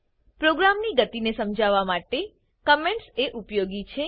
પ્રોગ્રામની ગતી ને સમજવા માટે કમેન્ટસ એ ઉપયોગી છે